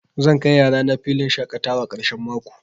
Zan kai yarana filin shaƙatawa ƙarshen mako.